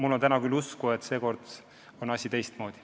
Aga täna ma küll usun, et seekord on asi teistmoodi.